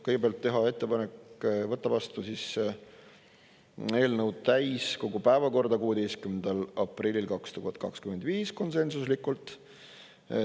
Kõigepealt, teha ettepanek võtta eelnõu täiskogu päevakorda 16. aprillil 2025, konsensuslikult.